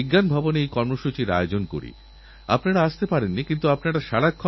অন্যান্য মন্দিরও এই বর্ষাতে প্রসাদের পরিবর্তে গাছের চারা বিলি করার পরম্পরা শুরুকরতে পারেন